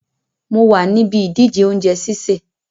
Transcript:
Mo wa níbi ìdíje ounje sísè